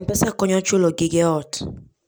M-Pesa konyo e chulo gige ot.